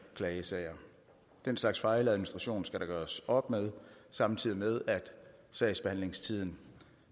klagesager den slags fejladministration skal der gøres op med samtidig med at sagsbehandlingstiden